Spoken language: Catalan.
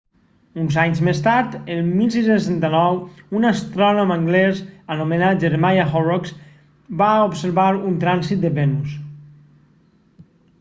uns anys més tard el 1639 un astrònom anglès anomenat jeremiah horrocks va observar un trànsit de venus